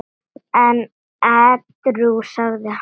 En edrú sagði hann